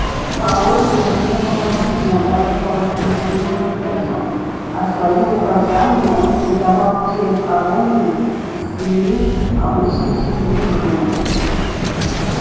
порой его не было видно даже по воскресеньям утром а свои указания он передавал через кого-нибудь из свиней обычно через визгуна